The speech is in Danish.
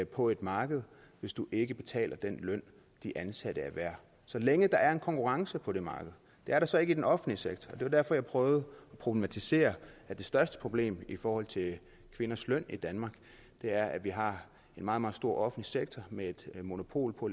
på et marked hvis du ikke betaler den løn de ansatte er værd så længe der er konkurrence på det marked det er der så ikke i den offentlige sektor og det var derfor jeg prøvede at problematisere at det største problem i forhold til kvinders løn i danmark er at vi har en meget meget stor offentlig sektor med monopol på